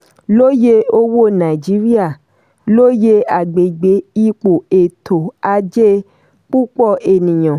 lóye owó nàìjíríà: lóye agbègbè ipò ètò ajé púpọ̀ ènìyàn.